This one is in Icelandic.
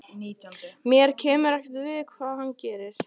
Mér kemur ekkert við hvað hann gerir.